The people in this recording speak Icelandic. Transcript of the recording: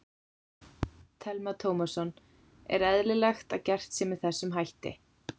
Telma Tómasson: Er eðlilegt að gert sé með þessum hætti?